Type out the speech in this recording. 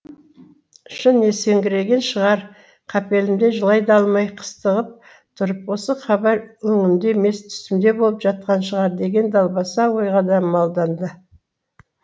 шын есеңгірегені шығар қапелімде жылай да алмай қыстығып тұрып осы хабар өңімде емес түсімде болып жатқан шығар деген далбаса ойға да малданды